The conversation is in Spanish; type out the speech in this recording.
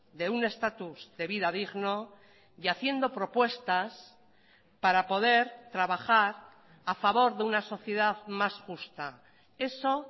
de un estatus de vida digno y haciendo propuestas para poder trabajar a favor de una sociedad más justa eso